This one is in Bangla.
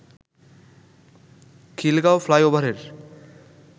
খিলগাঁও ফ্লাইওভারের